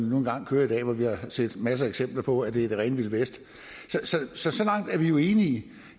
nu engang kører i dag hvor vi har set masser af eksempler på at det er det rene vilde vesten så så langt er vi jo enige